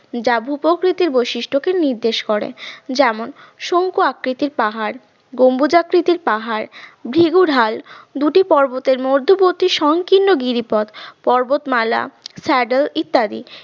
যা ভূপ্রকৃতির বৈশিষ্ট্যকে নির্দেশ করে যেমন শঙ্কু আকৃতির পাহাড় গম্বুজাকৃতির পাহাড় ভ্রিগুঢাল দুটি পর্বতের মধ্যবিত্ত সংকীর্ণ গিরিপথ পর্বতমালা শ্যাডেল ইত্যাদি।